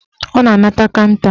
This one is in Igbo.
Ọ na-anata kanta